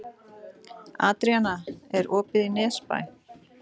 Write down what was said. Adríana, er opið í Nesbæ?